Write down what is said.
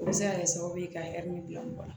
O bɛ se ka kɛ sababu ye ka bila mɔgɔ la